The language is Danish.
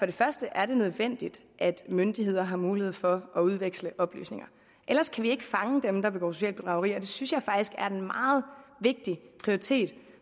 det første er nødvendigt at myndigheder har mulighed for at udveksle oplysninger ellers kan vi ikke fange dem der begår socialt bedrageri og det synes jeg faktisk er en meget vigtig prioritet